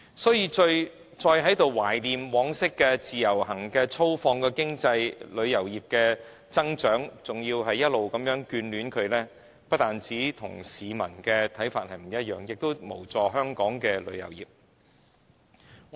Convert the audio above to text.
所以，如果再在這裏懷念往昔自由行的粗放式旅遊業所帶來的經濟增長，還要繼續眷戀它，不單與市民的看法有異，亦無助香港旅遊業的發展。